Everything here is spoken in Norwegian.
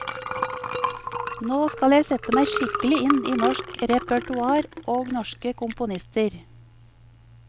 Nå skal jeg sette meg skikkelig inn i norsk repertoar og norske komponister.